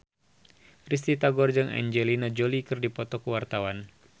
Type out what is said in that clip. Risty Tagor jeung Angelina Jolie keur dipoto ku wartawan